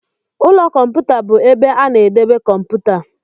Ụlọ kọmputa bụ ebe a na-edebe kọmputa.